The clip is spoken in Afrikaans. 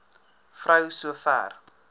vrou so ver